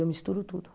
Eu misturo tudo.